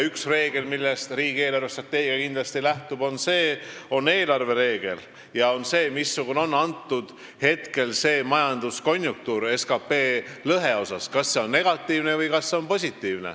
Üks reegel, millest riigi eelarvestrateegia kindlasti lähtub, on see, missugune on teatud hetkel majanduskonjunktuur SKT lõhe suhtes, kas see on negatiivne või positiivne.